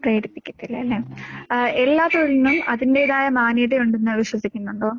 പ്രേരിപ്പിക്കത്തില്ല അല്ലേ? അഹ് എല്ലാത്തൊഴിലിനും അതിന്റേതായ മാന്യതയുണ്ടെന്ന് വിശ്വസിക്കുന്നുണ്ടോ?